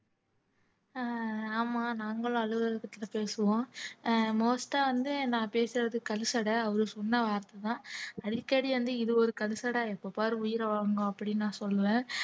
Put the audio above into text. அஹ் ஆமா நாங்களும் அலுவலகத்துக்கிட்ட பேசுவோம் most ஆ வந்து நான் பேசுறது கழிசடை அவரு சொன்ன வார்த்தைதான் அடிக்கடி வந்து இது ஒரு கழிசடை எப்ப பாரு உயிரை வாங்கும் அப்படின்னு நான் சொல்லுவேன்